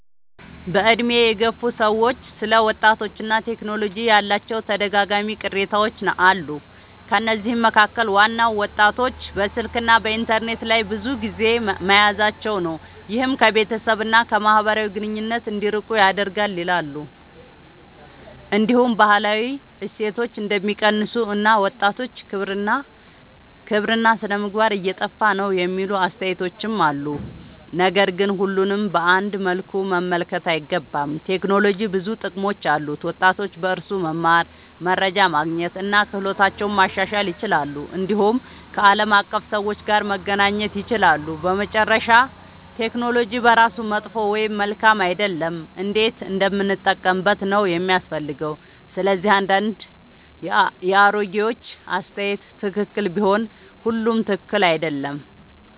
በዕድሜ የገፉ ሰዎች ስለ ወጣቶችና ቴክኖሎጂ ያላቸው ተደጋጋሚ ቅሬታዎች አሉ። ከነዚህ መካከል ዋናው ወጣቶች በስልክና በኢንተርኔት ላይ ብዙ ጊዜ መያዛቸው ነው፤ ይህም ከቤተሰብ እና ከማህበራዊ ግንኙነት እንዲርቁ ያደርጋል ይላሉ። እንዲሁም ባህላዊ እሴቶች እንደሚቀንሱ እና ወጣቶች ክብርና ሥነ-ምግባር እየጠፋ ነው የሚሉ አስተያየቶች አሉ። ነገር ግን ሁሉንም በአንድ መልኩ መመልከት አይገባም። ቴክኖሎጂ ብዙ ጥቅሞች አሉት፤ ወጣቶች በእርሱ መማር፣ መረጃ ማግኘት እና ክህሎታቸውን ማሻሻል ይችላሉ። እንዲሁም ከዓለም አቀፍ ሰዎች ጋር መገናኘት ይችላሉ። በመጨረሻ ቴክኖሎጂ በራሱ መጥፎ ወይም መልካም አይደለም፤ እንዴት እንደምንጠቀምበት ነው የሚያስፈልገው። ስለዚህ አንዳንድ የአሮጌዎች አስተያየት ትክክል ቢሆንም ሁሉም ትክክል አይደለም።